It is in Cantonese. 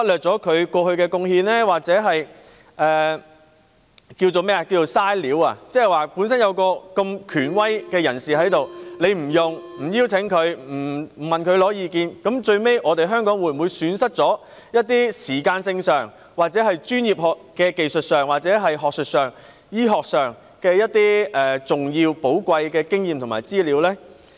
即是有這麼一位權威人士在此，政府卻沒有邀請他加入督導委員會或向他索取意見，那最終，香港會否損失了時間、專業技術、學術、醫學等方面的重要和寶貴經驗和資料呢？